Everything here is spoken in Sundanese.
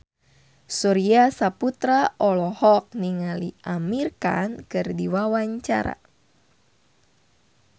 Surya Saputra olohok ningali Amir Khan keur diwawancara